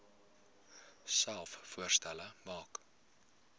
selfs voorstelle maak